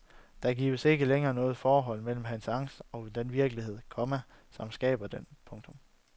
Der gives ikke længere noget forhold mellem hans angst og den virkelighed, komma som skaber den. punktum